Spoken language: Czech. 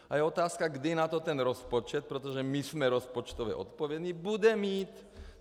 A je otázka, kdy na to ten rozpočet, protože my jsme rozpočtově odpovědní, bude mít.